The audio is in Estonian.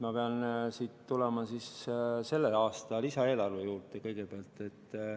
Ma pean kõigepealt tulema siis selle aasta lisaeelarve juurde.